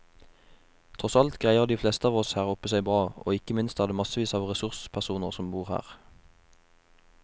Tross alt greier de fleste av oss her oppe seg bra, og ikke minst er det massevis av ressurspersoner som bor her.